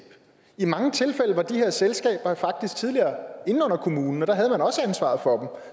i mange tilfælde var de her selskaber faktisk tidligere inde under kommunen og der havde man også ansvaret for